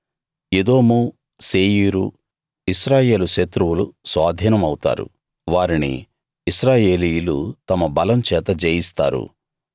ఎదోము శేయీరు ఇశ్రాయేలు శత్రువులు స్వాధీనం అవుతారు వారిని ఇశ్రాయేలీయులు తమ బలం చేత జయిస్తారు